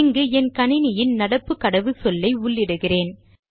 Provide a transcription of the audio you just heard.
இங்கு என் கணினியின் நடப்பு கடவுச்சொல்லை உள்ளிடுகிறேன்